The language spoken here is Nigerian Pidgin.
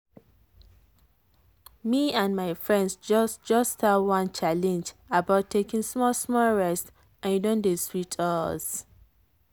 me and my friends just just start one challenge about taking small-small rest and e don dey sweet us.